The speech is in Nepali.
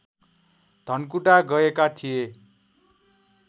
धनकुटा गएका थिए